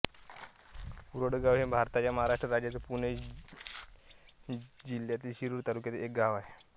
उरळगांव हे भारताच्या महाराष्ट्र राज्यातील पुणे जिल्ह्यातील शिरूर तालुक्यातील एक गाव आहे